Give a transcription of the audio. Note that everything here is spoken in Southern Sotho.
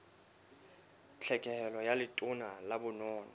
tlhekelo ka letona la bonono